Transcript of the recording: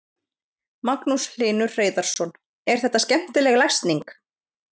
Magnús Hlynur Hreiðarsson: Er þetta skemmtileg lesning?